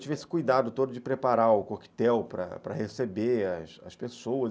Eu tive esse cuidado todo de preparar o coquetel para para receber as as pessoas.